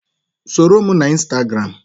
Soro m na Instagram!